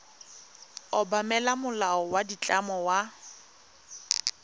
obamela molao wa ditlamo wa